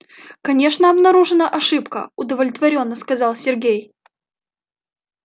конечно обнаружена ошибка удовлетворённо сказал сергей